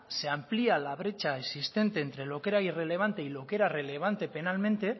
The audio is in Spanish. se amplía la brecha existente entre lo que era irrelevante y lo que era relevante penalmente